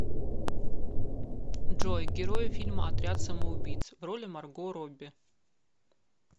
джой герои фильма отряд самоубииц в роли марго робби